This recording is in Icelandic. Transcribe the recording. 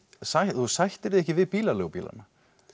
þú sættir þig ekki við bílaleigubílana